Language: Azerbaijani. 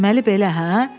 Deməli belə, hə?